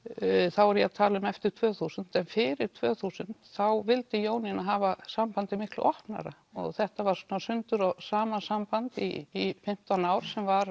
þá er ég að tala um eftir tvö þúsund en fyrir tvö þúsund þá vildi Jónína hafa sambandið mikið opnara og þetta var svona sundur og saman samband í fimmtán ár sem var